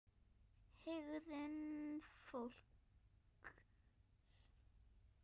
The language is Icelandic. HEGÐUN FÓLKS